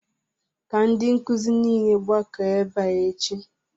Ka ndi nkuzi niile gbakọọ ebe a echi!